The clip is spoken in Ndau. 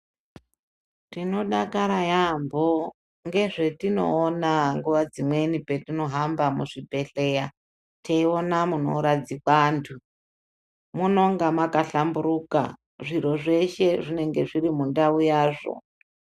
Tinodakara yaamho, ngezvetinoona nguwa dzimweni petinohamba muzvibhedhleya, teiona munoradzikwa anthu. Munonga makahlamburuka, zviro zveshe zvinenge zviri mundau yazvo.